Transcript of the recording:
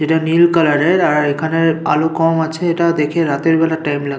এটা নীল কালার -এর আর এখানে আলো কম আছে এটা দেখে রাতের বেলার টাইম লা--